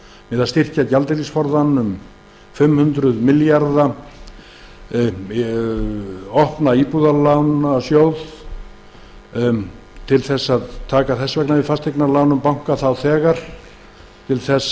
til að styrkja gjaldeyrisforðann um fimm hundruð milljarða við lögðum til að opna skyldi íbúðalánasjóð til þess að taka strax við fasteignalánum banka til